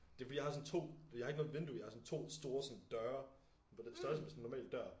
Det fordi jeg har sådan to jeg har ikke noget vindue jeg har to store sådan døre på det på størrelse med sådan en normal dør